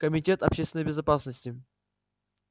комитет общественной безопасности